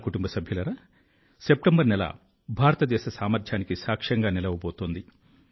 నా కుటుంబ సభ్యులారా సెప్టెంబరు నెల భారతదేశ సామర్థ్యానికి సాక్ష్యంగా నిలవబోతోంది